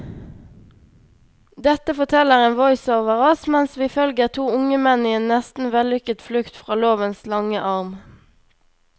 Dette forteller en voiceover oss mens vi følger to unge menn i en nesten vellykket flukt fra lovens lange arm.